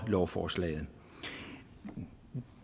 lovforslaget